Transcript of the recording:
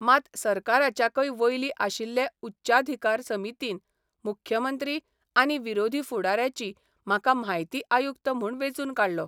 मात सरकाराच्याकय वयली आशिल्ले उच्चाधिकार समितीन मुख्यमंत्री आनी विरोधी फुडाऱ्याची म्हाका म्हायती आयुक्त म्हूण वेंचून काडलो.